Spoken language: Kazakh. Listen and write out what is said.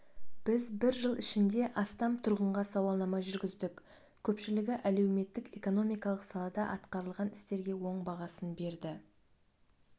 біз бір жыл ішінде астам тұрғынға сауалнама жүргіздік көпшілігі әлеуметтік-экономикалық салада атқарылған істерге оң бағасын берді